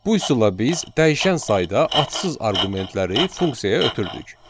Bu üsulla biz dəyişən sayda atsız arqumentləri funksiyaya ötürdük.